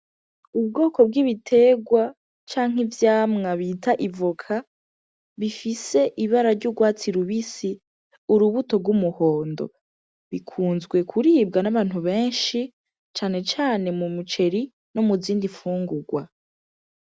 Ubwoko bw'ibitegwa canke ivyamwa bita ivoka bifise ibara ry'urwatsi rubisi, utubuto rw'umuhondo. Bikunzwe kuribwa n'abantu benshi cane cane mu muceri no muzindi mfungurwa.